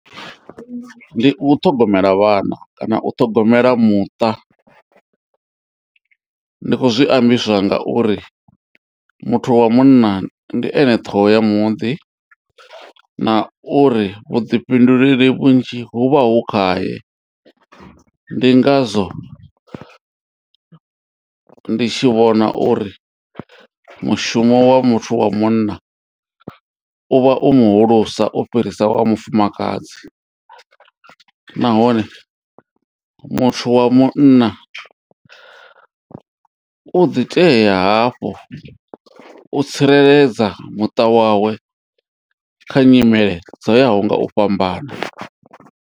Ndi u ṱhogomela vhana kana u ṱhogomela muṱa, ndi kho zwi ambiswa ngauri muthu wa munna ndi ene ṱhoho ya muḓi na uri vhuḓifhinduleli vhunzhi hu vha hu khaye ndi ngazwo ndi tshi vhona uri mushumo wa muthu wa munna u vha u muhulusa u fhirisa wa mufumakadzi nahone muthu wa munna u ḓi tea hafhu u tsireledza muṱa wawe kha nyimele dzo yaho nga u fhambana.